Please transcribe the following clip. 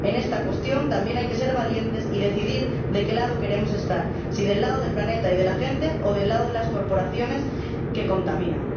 En esta cuestión también hay que ser valientes y decidir de qué lado queremos estar, si del lado del planeta y de la gente, o del lado de las corporaciones que contaminan.